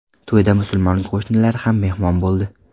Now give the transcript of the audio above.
To‘yda musulmon qo‘shnilar ham mehmon bo‘ldi.